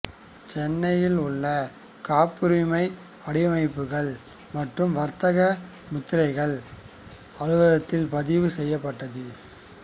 சென்னையில் உள்ள காப்புரிமை வடிவமைப்புகள் மற்றும் வர்த்தக முத்திரைகள் அலுவலகத்தில் பதிவுசெய்யப்பட்டது